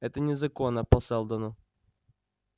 это незаконно по сэлдону